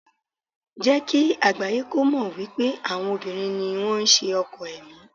Jẹ́ kí àgbáyé kó mọ̀ wípé àwọn obìnrin ni wón ṣe ọkọ̀ ẹ̀mí.